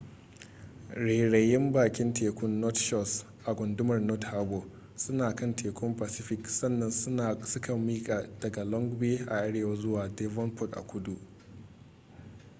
rairayin bakin tekun north shores a gundumar north harbour suna kan tekun pacific sannan suka miƙa daga long bay a arewa zuwa devonport a kudu